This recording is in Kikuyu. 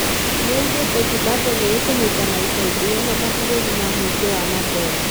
Nĩaugĩte Zimbabwe nĩ ĩkũnyitana ica ikuhi na mabũrũri ma mũingĩ wa mandora.